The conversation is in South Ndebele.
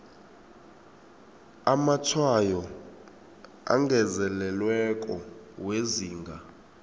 amatshwayo angezelelweko wezinga